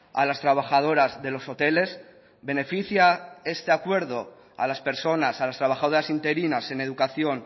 a las trabajadoras de los hoteles beneficia este acuerdo a las personas a las trabajadoras interinas en educación